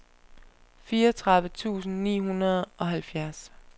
fireogtredive tusind ni hundrede og halvfjerds